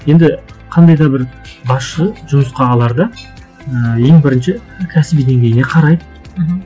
енді қандай да бір басшы жұмысқа аларда ыыы ең бірінші кәсіби деңгейіне қарайды мхм